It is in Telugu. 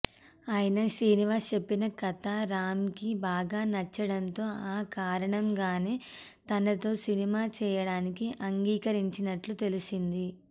అయినా శ్రీనివాస్ చెప్పిన కథ రామ్ కి బాగా నచ్చడంతో ఆ కారణంగానే తనతో సినిమా చేయడానికి అంగీకరించినట్లు తెలిసింది